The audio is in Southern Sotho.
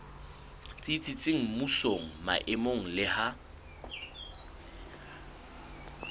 tsitsitseng mmusong maemong le ha